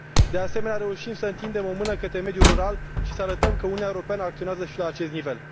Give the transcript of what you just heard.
De asemenea, reușim să întindem o mână către mediul rural și să arătăm că Uniunea Europeană acționează și la acest nivel.